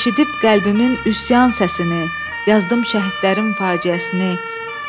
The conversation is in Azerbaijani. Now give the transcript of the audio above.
Eşidib qəlbimin üsyan səsini, yazdım şəhidlərin faciəsini.